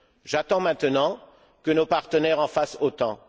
J'attends maintenant que nos partenaires en fassent autant.